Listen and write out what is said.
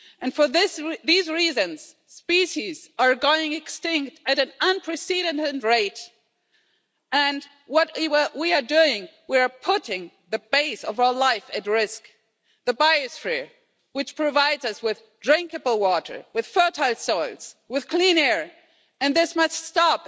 For these reasons species are going extinct at an unprecedented rate and what we are doing, we are putting the base of our life at risk the biosphere which provides us with drinkable water, with fertile soils with clean air and this must stop.